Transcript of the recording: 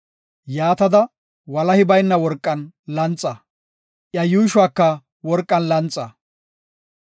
Yaatada, walahi bayna worqan lanxa; iya yuushuwaka worqan lanxa.